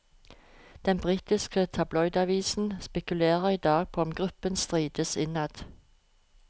Den britiske tabloidavisen spekulerer i dag på om gruppen strides innad.